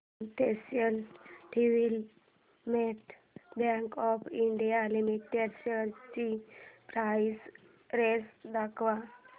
industrial development bank of India limited shares ची price range दाखव